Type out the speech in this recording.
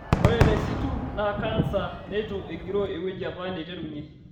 Ore te situ naa kansa neitu egiroo ewueji apa neiterunye.